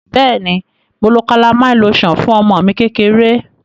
Beeni, Mo lo calamine lotion fun omo mi kekere.